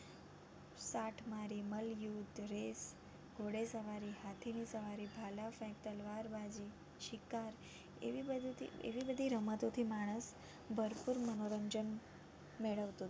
યુદ્ધ, રેસ, ગોડે સવારી, હાથીની સવારી, ભાલા ફેંક, તલવારબાજી, શિકાર એવી બધીથી એવી બધી રમતો થી માણસ ભરપૂર મનોરંજન મેળવતું.